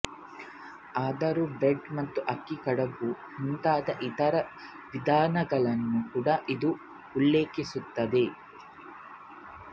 ಆದರೂ ಬ್ರೆಡ್ ಮತ್ತು ಅಕ್ಕಿ ಕಡುಬು ಮುಂತಾದ ಇತರ ವಿಧಗಳನ್ನು ಕೂಡ ಇದು ಉಲ್ಲೇಖಿಸುತ್ತದೆ